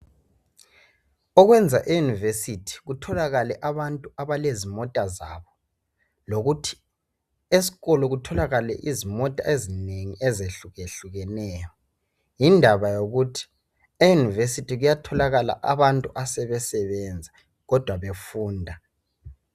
okwenza e university kutholakale abantu abalezimota zabo lokuthi esikolo kutholakale izimota ezinengi ezehlukeneyo yindaba yokuthi e university kuyatholakala abantu asebesebenza kodwa befunda